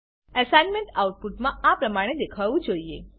assignment output આ પ્રમાણે દેખાવવું જોઈએ